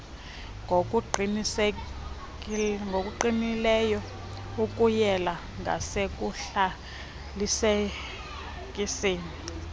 ngokuqinileyo ukuyela ngasekuzalisekiseni